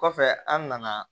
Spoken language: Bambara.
Kɔfɛ an nana